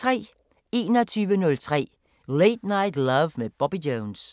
21:03: Late Night Love med Bobby Jones